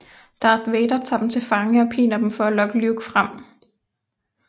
Darth Vader tager dem til fange og piner dem for at lokke Luke frem